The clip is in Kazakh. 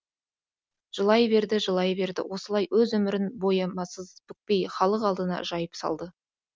жылай берді жылай берді осылай өз өмірін боямасыз бүкпей халық алдына жайып салды